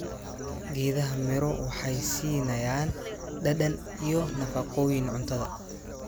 Geedaha miro waxay siinayaan dhadhan iyo nafaqooyin cuntada.